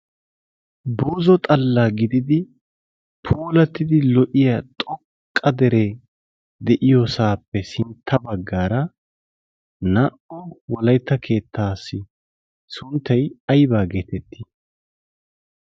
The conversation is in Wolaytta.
boozo xallaa gididi poolattidi lo77iya xoqqa deree de7iyoosaappe sintta baggaara naa77u wolaytta keettaassi sunttai aibaa geetettii?